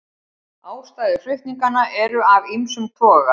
Ástæður flutninganna eru af ýmsum toga